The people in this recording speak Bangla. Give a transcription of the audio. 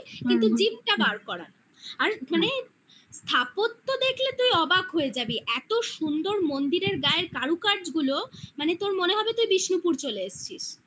কিন্তু জিভটা বার করার আর মানে ঠাকুরও দেখলে তুই অবাক হয়ে যাবি স্থাপত্য দেখলে এত সুন্দর মন্দিরের গায়ের কারুকার্য গুলো মানে তোর মনে হবে তুই বিষ্ণুপুর চলে এসছিস